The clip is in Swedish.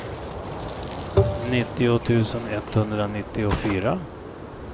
nittio tusen etthundranittiofyra